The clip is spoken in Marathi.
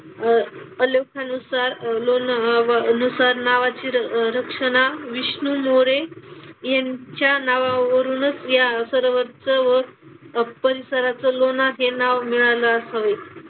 अह नुसार अह लोन अह लोणासुर नावाची रक्षणा विष्णुमुळे यांच्या नावावरूनच या सरोवरचं व परिसराचं लोणार हे नाव मिळालं असावे.